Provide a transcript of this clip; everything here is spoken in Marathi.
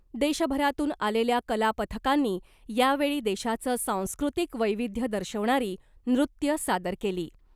देशभरातून आलेल्या कलापथकांनी यावेळी देशाचं सांस्कृतिक वैविध्य दर्शवणारी नृत्यं सादर केली .